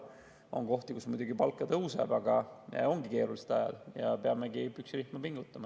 On kohti, kus muidugi palk ka tõuseb, aga ongi keerulised ajad ja peamegi püksirihma pingutama.